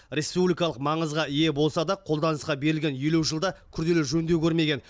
республикалық маңызға ие болса да қолданысқа берілген елу жылда күрделі жөндеу көрмеген